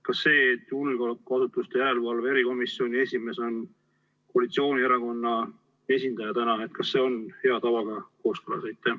Kas see, et julgeolekuasutuste järelevalve erikomisjoni esimees on koalitsioonierakonna esindaja, on hea tavaga kooskõlas?